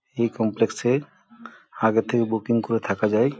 এই কমপ্লেক্স -এ আগে থেকে বুকিং করে থাকা যায়।